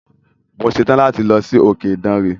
Mo ṣetán láti lọ sí òkè Ìdànre.